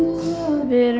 við erum